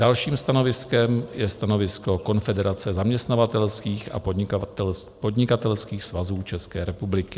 Dalším stanoviskem je stanovisko Konfederace zaměstnavatelských a podnikatelských svazů České republiky.